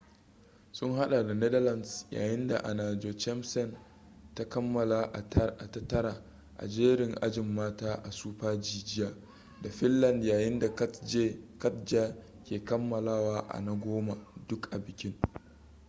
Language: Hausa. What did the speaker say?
sun hada da netherlands yayin da anna jochemsen ta kammala a ta tara a jerin ajin mata a super-g jiya da finland yayin da katja ke kammalawa a na goma duk a bikin